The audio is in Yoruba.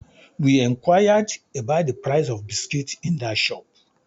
We enquired about the price of biscuit in that shop